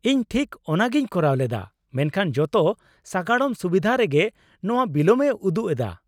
ᱤᱧ ᱴᱷᱤᱠ ᱚᱱᱟᱜᱮᱧ ᱠᱚᱨᱟᱣ ᱞᱮᱫᱟ, ᱢᱮᱱᱠᱷᱟᱱ ᱡᱚᱛᱚ ᱥᱟᱜᱟᱲᱚᱢ ᱥᱩᱵᱤᱫᱷᱟ ᱨᱮᱜᱮ ᱱᱚᱶᱟ ᱵᱤᱞᱟᱹᱢ ᱮ ᱩᱫᱩᱜ ᱮᱫᱟ ᱾